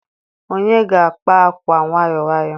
onye ga-akpa akwa nwayọ nwayọ